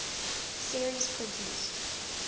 series produced